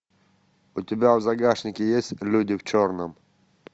у тебя в загашнике есть люди в черном